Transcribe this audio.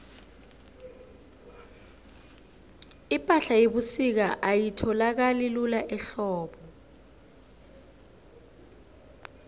ipahla yebusika ayitholakali lula ehlobo